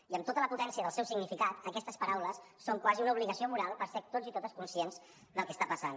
i amb tota la potència del seu significat aquestes paraules són quasi una obligació moral per ser tots i totes conscients del que està passant